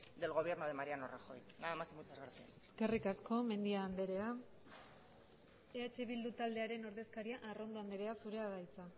del gobierno de mariano rajoy nada más y muchas gracias eskerrik asko mendia andrea eh bildu taldearen ordezkaria arrondo andrea zurea da hitza